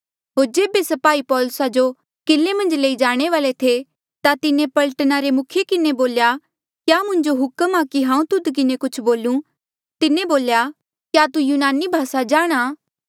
होर जेबे स्पाही पौलुसा जो किले मन्झ लई जाणे वाले थे ता तिन्हें पलटना रे मुखिये किन्हें बोल्या क्या मुंजो हुक्म आ कि हांऊँ तुध किन्हें कुछ बोलूं तिन्हें बोल्या क्या तू यूनानी भासा जाणहां